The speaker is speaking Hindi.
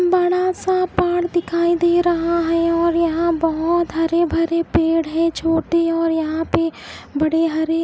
बड़ा सा पहाड़ दिखाई दे रहा है और यहाँ बहुत हरे भरे पेड़ हैं छोटे और यहाँ पे बड़े हरे--